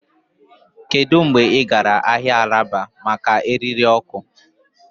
Kedu mgbe ị gara ahịa alaba maka èrírí?